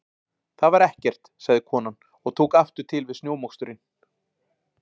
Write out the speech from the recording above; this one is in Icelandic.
Það var ekkert- sagði konan og tók aftur til við snjómoksturinn.